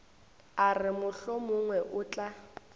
a re mohlomongwe o tla